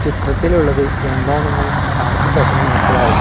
ചിത്രത്തിലുള്ളത് എന്താണെന്ന് ആർക്കും പെട്ടെന്ന് മനസ്സിലാവില്ല.